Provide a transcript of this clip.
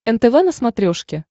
нтв на смотрешке